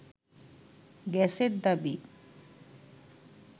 গ্যাসের দাবি